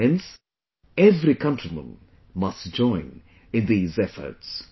Hence, every countryman must join in these efforts